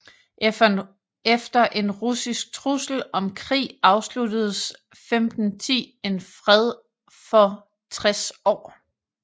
Efter en russisk trussel om krig afsluttedes 1510 en fred for 60 år